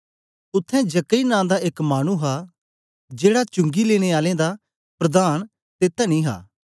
उत्थें जक्कई नां दा एक मानु हा जेड़ा चुंगी लेने आलें दा प्रधान ते तनी हा